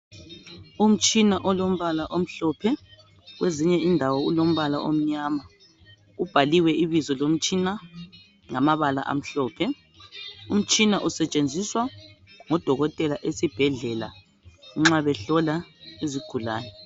Umtshina olombala omhlophe. Kwezinye indawo ulombala omnyama. Imbaliwe ibizo lomtshina lamabala amhlophe. Umtshina usetshenziswa ngodokotela esibhedlela nxa behlola izigulane.